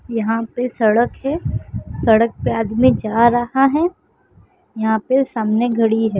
यहां पे सड़क है। सड़क पे आदमी जा रहा है। यहाँ पे सामने घडी है।